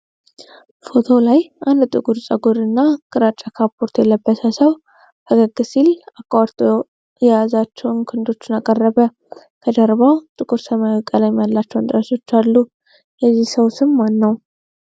ፎቶው ላይ አንድ ጥቁር ፀጉርና ግራጫ ካፖርት የለበሰ ሰው ፈገግ ሲል አቋርጦ የያዛቸውን ክንዶች አቀረበ። ከጀርባው ጥቁር ሰማያዊ ቀለም ያላቸው እንጨቶች አሉ። የዚህ ሰው ስም ማን ነው?